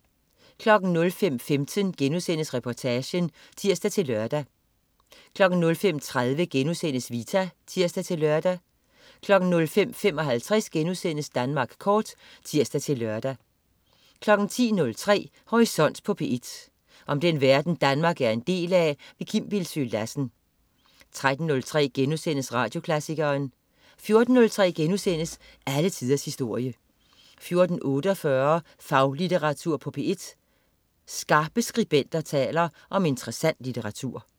05.15 Reportagen* (tirs-lør) 05.30 Vita* (tirs-lør) 05.55 Danmark Kort* (tirs-lør) 10.03 Horisont på P1. Om den verden Danmark er en del af. Kim Bildsøe Lassen 13.03 Radioklassikeren* 14.03 Alle tiders historie* 14.48 Faglitteratur på P1. Skarpe skribenter taler om interessant litteratur